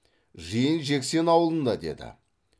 жиын жексен аулында деді